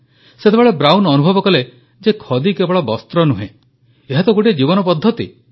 ସେତେବେଳେ ବ୍ରାଉନ୍ ଅନୁଭବ କଲେ ଯେ ଖଦୀ କେବଳ ବସ୍ତ୍ର ନୁହେଁ ଏହା ତ ଗୋଟିଏ ଜୀବନ ପଦ୍ଧତି